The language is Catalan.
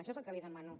això és el que li demano